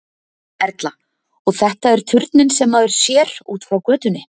Erla: Og þetta er turninn sem maður sér út frá götunni?